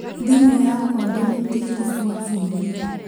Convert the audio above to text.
Thimũ yakwa ndĩmĩtigire gwa fundi